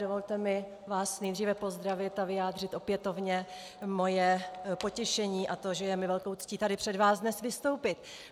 Dovolte mi vás nejdříve pozdravit a vyjádřit opětovně svoje potěšení a to, že je mi velkou ctí tady před vámi dnes vystoupit.